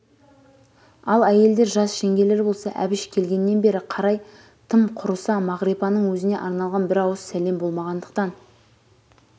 ал әйелдер жас жеңгелер болса әбіш келгеннен бері қарай тым құрыса мағрипаның өзіне арналған бір ауыз сәлем болмағандықтан